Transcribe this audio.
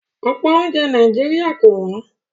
Ọ̀pọ̀ oúnjẹ Nàìjíríà kò wọ́n